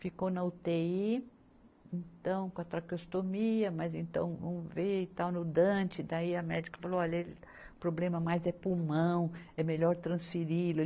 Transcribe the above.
Ficou na utêi, então, com a traqueostomia, mas então, vamos ver, e tal, no Dante, daí a médica falou, olha, ele problema mais é pulmão, é melhor transferi-lo ele.